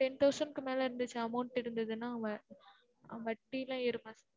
ten thousand மேல இருந்துச்சு amount டு இருந்ததுனா வட்டிலா ஏறுமா sir